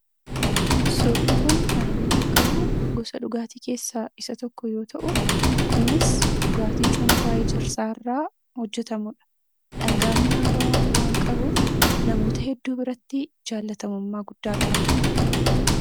Suurri asii gadii kun kan bakka bu’u gisa dhugaatii keessaa tokko yommuu ta'u, kunis dhugaatii cuunfaa wayinnii irraa hojjetamudha. Dhangaa mi'aawwaa waan qabuuf namoota hedduu biratti jaallatamummaa guddaa qaba.